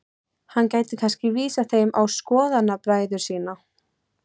Hann gæti kannski vísað þeim á skoðanabræður sína.